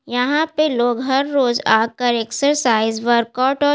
यहाँ पर लोग हर रोज आकर एक्सरसाइज वर्कआउट और --